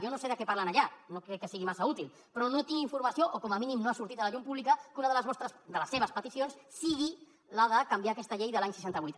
jo no sé de què parlen allà no crec que sigui massa útil però no tinc informació o com a mínim no ha sortit a la llum pública que una de les seves peticions sigui la de canviar aquesta llei de l’any seixanta vuit